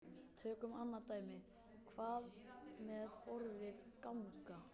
Tökum annað dæmi: Hvað með orðið ganga?